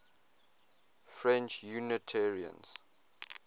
french unitarians